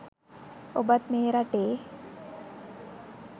ඔබත් මේ රටේ